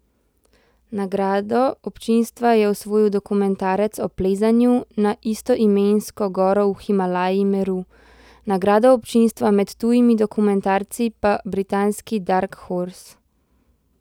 Nagrado občinstva je osvojil dokumentarec o plezanju na istoimensko goro v Himalaji Meru, nagrado občinstva med tujimi dokumentarci pa britanski Dark Horse.